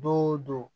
Don o don